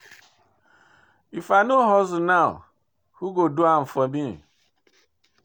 If I no hustle now, who go do am for me?